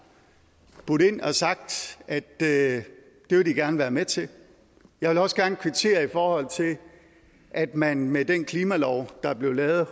budt ind og sagt at det vil de gerne være med til jeg vil også gerne kvittere for at man med den klimalov der blev lavet